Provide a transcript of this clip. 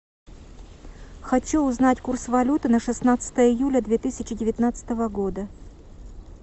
хочу узнать курс валюты на шестнадцатое июля две тысячи девятнадцатого года